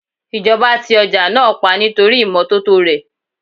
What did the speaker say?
Ìjọba ti ọjà náà pa nítorí ìmọ́tótó rè.